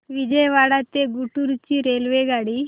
विजयवाडा ते गुंटूर ची रेल्वेगाडी